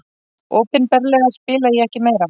Opinberlega spila ég ekki meira.